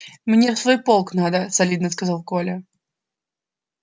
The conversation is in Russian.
мне в свой полк надо солидно сказал коля